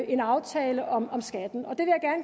en aftale om skatten